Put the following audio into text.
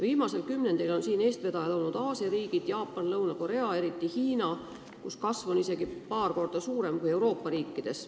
Viimasel kümnendil on selles vallas eestvedajad olnud Aasia riigid – Jaapan, Lõuna-Korea ja eriti Hiina –, kus kasv on isegi paar korda suurem kui Euroopa riikides.